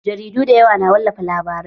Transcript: Jaridu da yawa na wallafa labarai